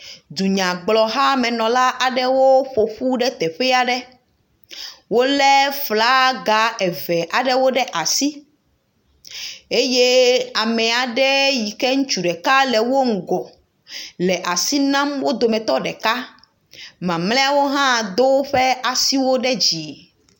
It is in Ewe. Dunyagblɔhamenɔlawo ƒo ƒu ɖe teƒe aɖe wolé flaga eve aɖewo ɖe asi eye ame aɖe yike ŋutsu ɖeka le wo eŋgɔ le asi nam wo dometɔ ɖeka, mamlɛawo hã do woƒe asiwo ɖe dzi.